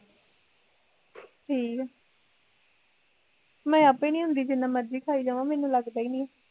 ਠੀਕ ਆ ਮੈਂ ਆਪੇ ਨੀ ਹੁੰਦੀ ਜਿੰਨਾ ਮਰਜ਼ੀ ਖਾਈ ਜਾਵਾ ਮੈਨੂੰ ਲੱਗਦਾ ਈ ਨੀ ਐ